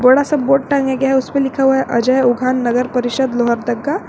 बड़ा सा बोर्ड टांगे गए है उस पे लिखा हुआ है अजय उघान नगर परिषद लोहरदगा।